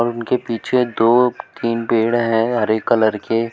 उनके पीछे दो तीन पेड़ है हरे कलर के--